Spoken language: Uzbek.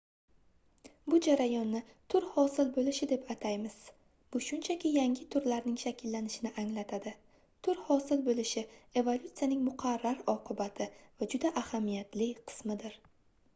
bu jarayonni tur hosil boʻlishi deb ataymiz bu shunchaki yangi turlarning shakllanishini anglatadi tur hosil boʻlishi evolyutsiyaning muqarrar oqibati va juda ahamiyatli qismidir